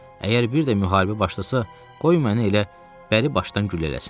Əgər bir də müharibə başlasa, qoy məni elə bəri başdan güllələsinlər.